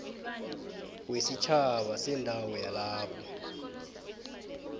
wesitjhaba sendawo yalapho